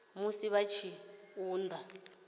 musi vha tshi ṱun ḓa